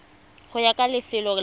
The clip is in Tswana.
go ya ka lefelo la